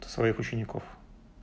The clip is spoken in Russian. своих учеников